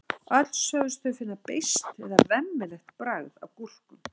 öll sögðust þau finna beiskt eða „vemmilegt“ bragð af gúrkum